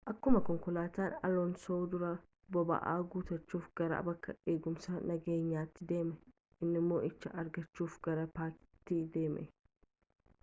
akkumaa konkolaatan aloonsoo duraa boba'aa guutachuuf gara bakka eegumsaa nageenyatti deeme inni moo'icha argaachuf gara paakitii deeme